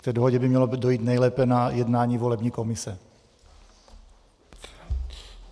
K té dohodě by mělo dojít nejlépe na jednání volební komise.